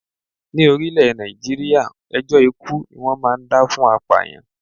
Ní orílè Nàìjíríà, ẹjọ́ ikú ni wón máa ń dá fún apàyàn.